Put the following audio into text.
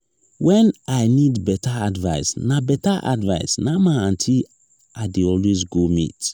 wen i need beta advice na beta advice na my aunty i dey go meet.